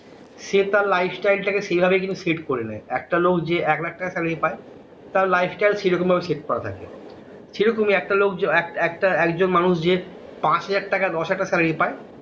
সে তার life style টা কে সেভাবেই কিন্তু শটে করে নেয় একটা লোক যে একলাখ টাকা salary পায় তার life style সেরকম ভাবে শটে করা থাকে সেরকমই একটা লোক একজন মানুষ যে পাঁচ হাজার টাকা দশ হাজার টাকা salary পায়